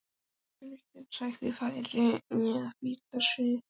Kuldinn sætti færis að bíta og svíða.